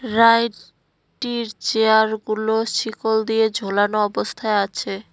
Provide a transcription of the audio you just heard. Ride টির চেয়ারগুলো ছিকল দিয়ে ঝোলানো অবস্থায় আছে।